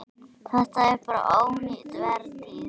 Þetta er bara ónýt vertíð.